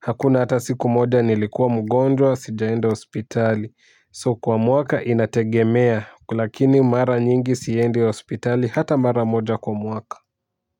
hakuna hata siku moja nilikuwa mgonjwa sijaenda hospitali so kwa muaka inategemea lakini mara nyingi siendi hospitali hata mara moja kwa muaka.